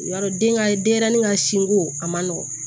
Y'a dɔn den ŋa denɲɛrɛnin ka sinko a man nɔgɔn